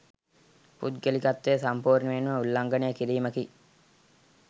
පුද්ගලිකත්වය සම්පූර්ණයෙන්ම උල්ලංඝනය කිරීමකි.